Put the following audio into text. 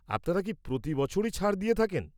আপনারা কি প্রতি বছরই ছাড় দিয়ে থাকেন?